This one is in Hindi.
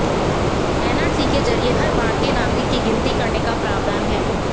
एनआरसी के जरिए हर भारतीय नागरिक की गिनती करने का प्रावधान है